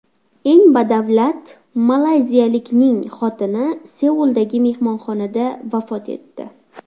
Eng badavlat malayziyalikning xotini Seuldagi mehmonxonada vafot etdi.